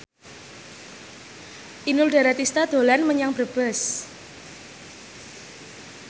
Inul Daratista dolan menyang Brebes